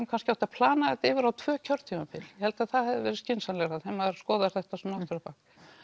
kannski átt að plana þetta yfir á tvö kjörtímabil ég held að það hefði verið skynsamlegra þegar maður skoðar þetta svona aftur á bak